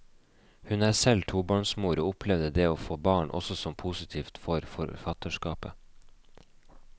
Hun er selv tobarnsmor, og opplevde det å få barn også som positivt for forfatterskapet.